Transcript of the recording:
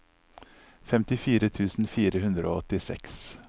femtifire tusen fire hundre og åttiseks